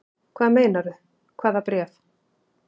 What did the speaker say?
Hvað meinarðu. hvaða bréf?